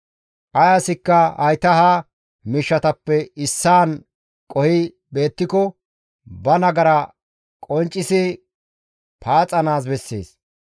«Ay asikka hayta ha miishshatappe issaan qohi beettiko ba nagara qonccisi paaxanaas bessees.